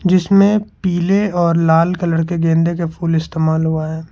इसमें पीले और लाल कलर के गेंदे के फूल इस्तेमाल हुआ है।